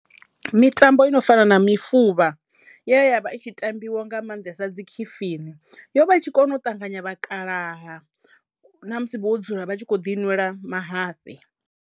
Mitambo ino fana na mufuvha ye ya vha i tshi tambiwa nga maanḓesa dzi khifini yo vha i tshi kona u ṱanganya vhakalaha na musi vho dzula vha tshi kho ḓi nwela mahafhe.